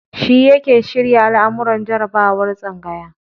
Shi yake shirya al'amuran jarabawar tsangaya.